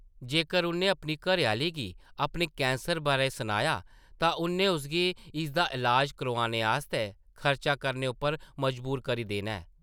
जेकर उʼन्नै अपनी घरै-आह्ली गी अपने कैंसर बारै सनाया तां उʼन्नै उसगी इसदा इलाज करोआने आस्तै खर्चा करने उप्पर मजबूर करी देना ऐ ।